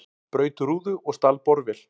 Braut rúðu og stal borvél